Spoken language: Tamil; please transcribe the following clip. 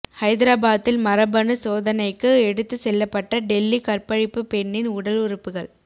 ஐதராபாத்தில் மரபணு சோதனைக்கு எடுத்து செல்லப்பட்ட டெல்லி கற்பழிப்பு பெண்ணின் உடலுறுப்புகள்